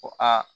Ko aa